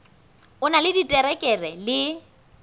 o na le diterekere le